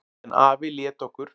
En afi lét okkur